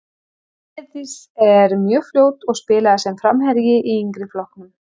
Heiðdís er mjög fljót og spilaði sem framherji í yngri flokkunum.